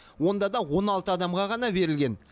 онда да он алты адамға ғана берілген